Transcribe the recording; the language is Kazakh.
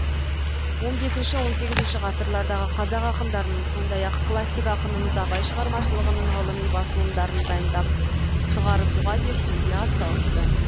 он бесінші он сегізінші ғасырлардағы қазақ ақындарының сондай ақ калссик ақынымыз абай шығармашылығының ғылыми басылымдарын дайындап шығарысуға зерттеуге атсалысты